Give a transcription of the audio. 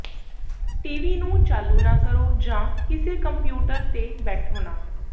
TV ਨੂੰ ਚਾਲੂ ਨਾ ਕਰੋ ਜਾਂ ਕਿਸੇ ਕੰਪਿਊਟਰ ਤੇ ਬੈਠੋ ਨਾ